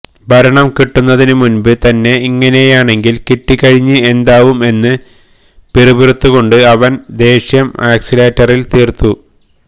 ഭരണം കിട്ടുന്നതിന് മുൻപ് തന്നെ ഇങ്ങനെയാണെങ്കിൽ കിട്ടിക്കഴിഞ്ഞ് എന്താവും എന്ന് പിറുപിറുത്തുകൊണ്ട് അവൻ ദേഷ്യം അക്സിലേറ്ററിൽ തീർത്തു